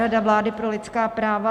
Rada vlády pro lidská práva.